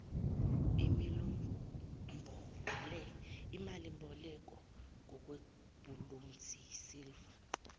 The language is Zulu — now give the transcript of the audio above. imalimboleko ngokwebhulonzi isiliva